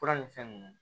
Fura ni fɛn nunnu